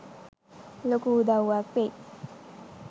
ලොකු උදව්වක් වෙයි.